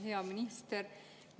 Hea minister!